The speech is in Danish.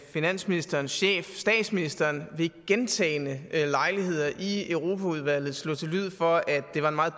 finansministerens chef statsministeren ved gentagne lejligheder i europaudvalget slå til lyd for at det var en meget